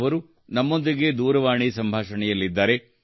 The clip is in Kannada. ಅವರು ನಮ್ಮೊಂದಿಗೆ ದೂರವಾಣಿ ಸಂಭಾಷಣೆಯಲ್ಲಿದ್ದಾರೆ